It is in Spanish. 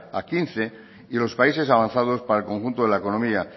a quince y los países avanzados para el conjunto de la economía